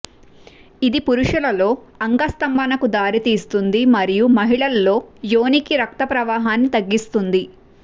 ఇది పురుషులలో అంగస్తంభనకు దారితీస్తుంది మరియు మహిళల్లో యోనికి రక్త ప్రవాహాన్ని తగ్గిస్తుంది